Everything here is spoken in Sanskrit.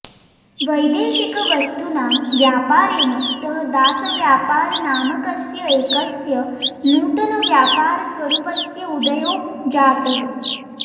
वैदेशिकवस्तूनां व्यापारेण सह दासव्यापारनामकस्य एकस्य नूतनव्यापारस्वरूपस्य उदयो जातः